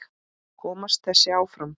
Komst þessi áfram?